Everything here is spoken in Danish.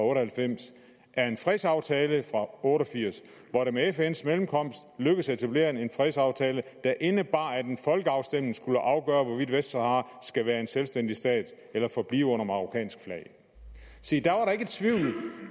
og halvfems er en fredsaftale fra nitten otte og firs hvor det via fns mellemkomst lykkedes at etablere en fredsaftale der indebar at en folkeafstemning skulle afgøre hvorvidt vestsahara skulle være selvstændig stat eller forblive under marokkansk flag se da